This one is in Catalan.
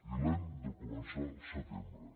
i l’hem de començar al setembre